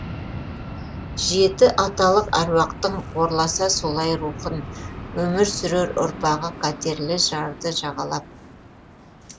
жеті аталық әруақтың қорласа солай рухын өмір сүрер ұрпағы қатерлі жарды жағалап